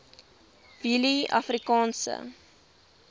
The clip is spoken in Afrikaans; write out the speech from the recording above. willieafrikaanse